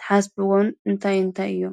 ተሓስቢዎን እንተይንተይ እዮም?